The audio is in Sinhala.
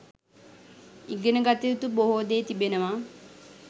ඉගෙන ගත යුතු බොහෝ දේ තිබෙනවා